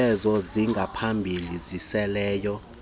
zenzo zingaphambili ziseleleyo